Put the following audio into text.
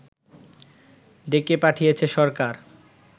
ডেকে পাঠিয়েছে সরকার